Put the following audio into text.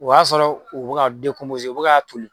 O y'a sɔrɔ u bɛ u bɛ ka toli